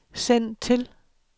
send til